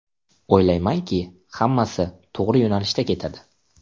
O‘ylamanki, hammasi to‘g‘ri yo‘nalishda ketadi.